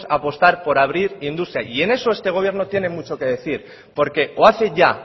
apostar por abrir industria y en eso este gobierno tiene mucho que decir porque o hace ya